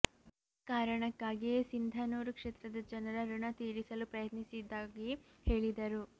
ಆ ಕಾರಣಕ್ಕಾಗಿಯೇ ಸಿಂಧನೂರು ಕ್ಷೇತ್ರದ ಜನರ ಋಣ ತೀರಿಸಲು ಪ್ರಯತ್ನಿಸಿದ್ದಾಗಿ ಹೇಳಿದರು